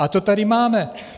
A to tady máme.